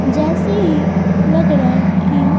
जैसे ही लग रहा है कि--